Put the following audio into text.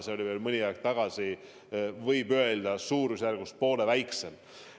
Veel mõni aeg tagasi oli seE näitaja, võib öelda, suurusjärgus poole väiksem.